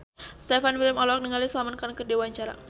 Stefan William olohok ningali Salman Khan keur diwawancara